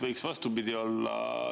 Võiks vastupidi olla.